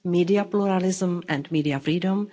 media pluralism and media freedom